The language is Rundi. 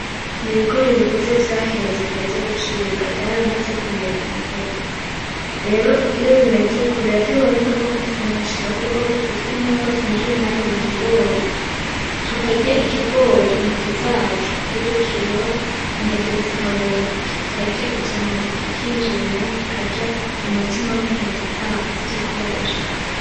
N'ibigori bikuze vyahetse bigeze gucibwa, vyaramaze kumera intete, rero iyo bimeze uko birategwa n'udukoko twinshi, hariho udukoko twitwa impungwe twinjira indani mu kigori; tukarya ikigori; intete zaco kuburyo kibora, intete zikabora, kikarya izo ntete; kikinjira indani kikarya umutima w'intete za, w'ikigori.